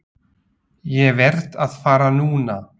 Ég verð að fara núna!